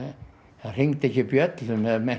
það hringdi ekki bjöllum ef menn